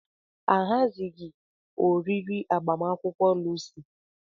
Ahazighị oriri agbamakwụkwọ Lucy.